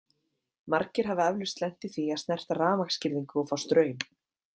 Margir hafa eflaust lent í því að snerta rafmagnsgirðingu og fá straum.